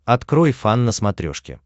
открой фан на смотрешке